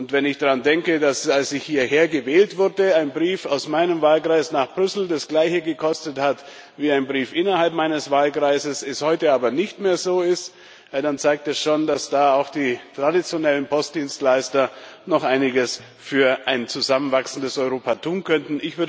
Wenn ich daran denke, dass, als ich hierher gewählt wurde, ein Brief aus meinem Wahlkreis nach Brüssel das gleiche gekostet hat wie ein Brief innerhalb meines Wahlkreises, das heute aber nicht mehr so ist, dann zeigt das schon, dass da auch die traditionellen Postdienstleister noch einiges für ein zusammenwachsendes Europa tun könnten.